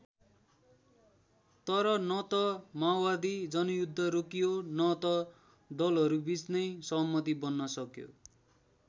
तर न त माओवादी जनयुद्ध रोकियो न त दलहरूबीच नै सहमति बन्न सक्यो।